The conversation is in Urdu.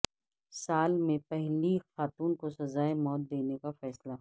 سال میں پہلی خاتون کو سزائے موت دینے کا فیصلہ